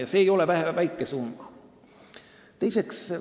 Ja see ei ole väike summa.